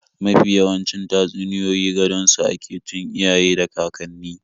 Mafi yawancin tatsuniyoyi gadon su ake tun iyaye da kakanni.